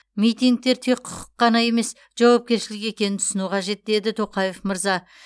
митингтер тек құқық қана емес жауапкершілік екенін түсіну қажет деді тоқаев мырза